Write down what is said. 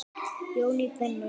Jón í Brennu.